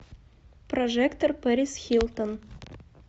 прожекторперисхилтон